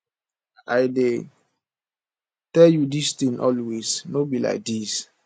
i dey tell you dis thing always no be like dis